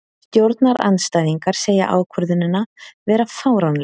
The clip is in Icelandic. Stjórnarandstæðingar segja ákvörðunina vera fáránlega